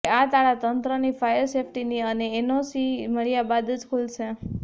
હવે આ તાળાં તંત્રની ફાયર સેફટીની એનઓસી મળ્યા બાદ જ ખૂલશે